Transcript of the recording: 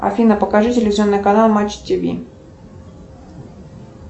афина покажи телевизионный канал матч тв